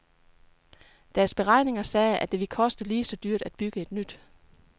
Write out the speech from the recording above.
Deres beregninger sagde, at det ville koste lige så dyrt at bygge nyt.